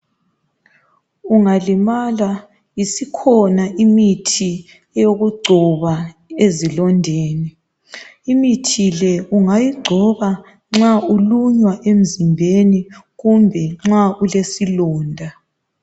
Ungalimala isikhona imithi yokugcoba ezilondeni , imithi le ungayigcoba nxa ulunywa emzimbeni kumbe nxa ulesilonda.